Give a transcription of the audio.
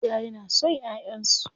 Iyaye na son ƴaƴansu.